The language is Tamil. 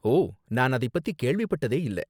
ஓ, நான் அதைப்பத்தி கேள்விப்பட்டதே இல்ல.